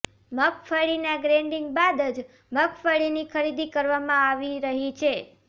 મગફળીના ગ્રેડીંગ બાદ જ મગફળીની ખરીદી કરવામાં આવી રહી છે